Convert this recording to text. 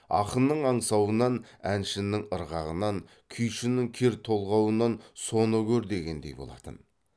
ақынның аңсауынан әншінің ырғағынан күйшінің кер толғауынан соны көр дегендей болатын